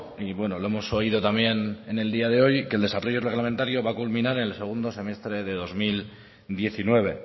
y bueno lo hemos oído también en el día de hoy que el desarrollo reglamentario va a culminar en el segundo semestre de dos mil diecinueve